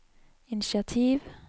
initiativ